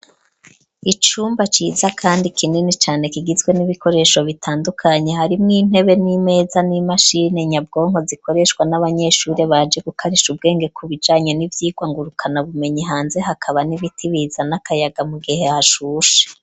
Icumba ciza kandi kinini cane, kigizwe n'ibikoresho bitandukanye. Harimwo: intebe n'imeza n'imashini nyabwonko zikoreshwa n'abanyeshuri baje gukarisha ubwenge, ku bijanye n'ivyigwa ngurukanabumenyi. Hanze hakaba n'ibiti bizana akayaga mu gihe hashushe.